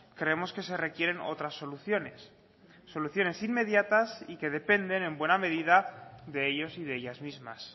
creemos que se requieren otras soluciones soluciones inmediatas y que dependen en buena medida de ellos y de ellas mismas